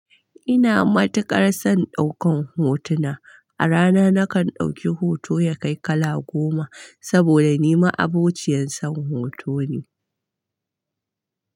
Ina matuƙar son ɗaukan hotuna. A rana nakan ɗauki hoto ya kai kala goma, saboda ni ma'abociyan son hoto ne.